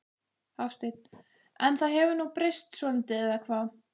Hafsteinn: En það hefur nú breyst svolítið eða hvað?